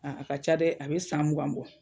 a ka ca dɛ, a bɛ san mugan bɔ.